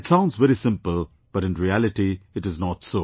It sounds very simple, but in reality it is not so